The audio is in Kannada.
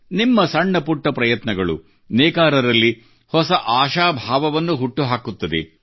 ನಿಮ್ಮ ಸಣ್ಣ ಪುಟ್ಟ ಪ್ರಯತ್ನಗಳು ನೇಕಾರರಲ್ಲಿ ಹೊಸ ಆಶಾಭಾವವನ್ನು ಹುಟ್ಟು ಹಾಕುತ್ತದೆ